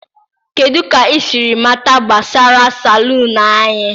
kedu ka ị siri mata gbasara Salon anyị?